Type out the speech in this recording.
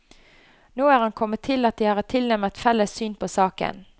Nå er han kommet til at de har et tilnærmet felles syn på saken.